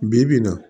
Bi bi in na